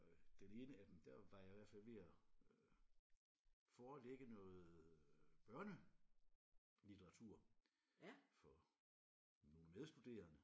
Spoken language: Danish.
Og den ene af dem der var jeg i hvert fald ved at øh forelægge noget øh børnelitteratur for nogle medstuderende